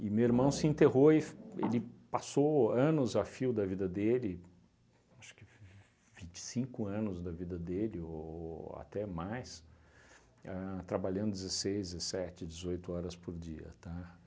E meu irmão se enterrou e f ele passou anos a fio da vida dele, acho que vinte e cinco anos da vida dele ou até mais, ahn trabalhando dezesseis, dezessete, dezoito horas por dia, tá?